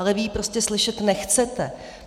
Ale vy ji prostě slyšet nechcete.